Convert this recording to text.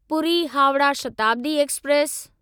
Puri Howrah Shatabdi express